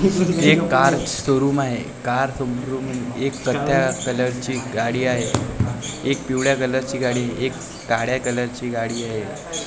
हे एक कारचं शोरूम आहे कार समरून एक कथ्या कलरची गाडी आहे एक पिवळ्या कलरची गाडी एक काळ्या कलरची गाडी आहे .